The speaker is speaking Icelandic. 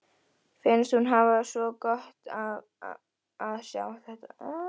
Finnst hún hafa svo gott af að sjá þetta aftur.